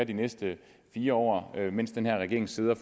de næste fire år mens den her regering sidder